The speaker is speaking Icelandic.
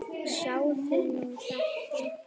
Sjáðu nú þetta!